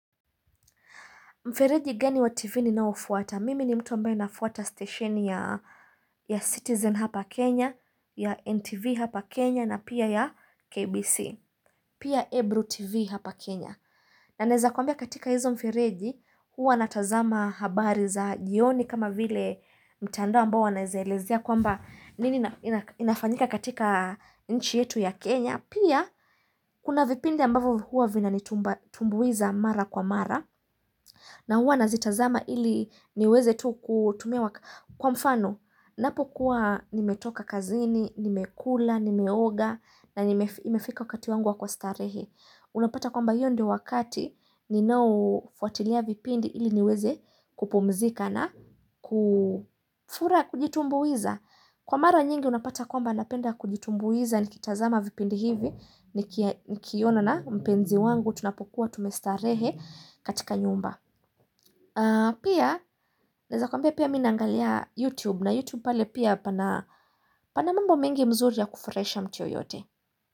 Mfereji gani wa TV ni naofuata. Mimi ni mtu ambae nafuata stationi ya Citizen hapa Kenya, ya NTV hapa Kenya, na pia ya KBC. Pia Ebru TV hapa Kenya. Na neza kwambia katika hizo mfereji, huwa natazama habari za jioni kama vile mtandoa mbao wanaezaelezea kwamba nini inafanyika katika nchi yetu ya Kenya. Pia, kuna vipindi ambavu huwa vina nitumbuiza mara kwa mara, na huwa nazitazama ili niweze tu kutumia kwa mfano. Napo kuwa nimetoka kazini, nimekula, nimeoga, na imefika wakati wanguwa kuwa starehe. Unapata kwamba iyo ndo wakati, ninao fuatilia vipindi ili niweze kupumzika na kufura kujitumbuiza. Kwa mara nyingi unapata kwamba napenda kujitumbuiza ni kitazama vipindi hivi ni kiona na mpenzi wangu tunapokuwa tumestarehe katika nyumba. Pia, naeza kwambia pia mimi na angalia YouTube na YouTube pale pia pana panamambo mengi mzuri ya kufurahisha mtu yoyote.